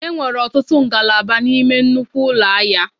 E nwere ọtụtụ ngalaba n'ime nnukwu ụlọ ahịa.